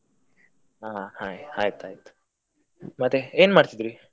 ಹಾ ಹಾಗೆ ಆಯ್ತಯ್ತು, ಮತ್ತೆ ಏನ್ ಮಾಡ್ತಾ ಇದ್ರಿ.